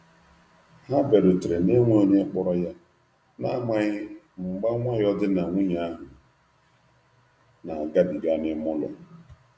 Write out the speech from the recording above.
Ha biarutere na-enweghi onye kporo ya, na amaghi mgba nwayo di na nwunye ahu na agabiga n'ime ụlọ.